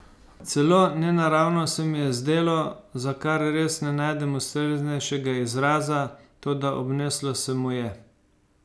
Celo nenaravno se mi je zdelo, za kar res ne najdem ustreznejšega izraza, toda obneslo se mu je.